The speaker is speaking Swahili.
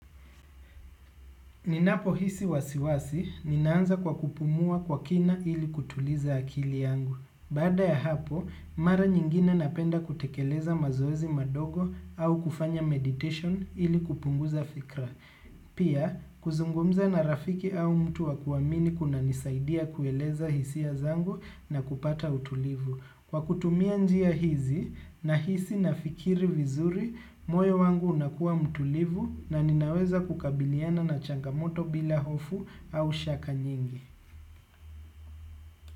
Ninapohisi wasiwasi, ninaanza kwa kupumua kwa kina ili kutuliza akili yangu. Baada ya hapo, mara nyingine napenda kutekeleza mazoezi madogo au kufanya meditation ili kupunguza fikra. Pia, kuzungumza na rafiki au mtu wa kuwamini kunanisaidia kueleza hisia zangu na kupata utulivu. Kwa kutumia njia hizi nahisi nafikiri vizuri, moyo wangu unakua mtulivu na ninaweza kukabiliana na changamoto bila hofu au shaka nyingi.